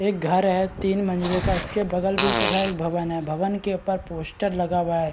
एक घर है तीन मंजिले का उसके बगल भी इतने सारे भवन है भवन के ऊपर पोस्टर लगा हुआ है।